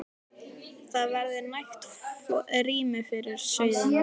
Það verður nægt rými fyrir sauðina.